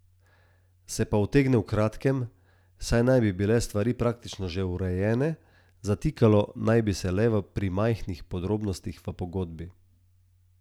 Se pa utegne v kratkem, saj naj bi bile stvari praktično že urejene, zatikalo naj bi se le pri majhnih podrobnostih v pogodbi.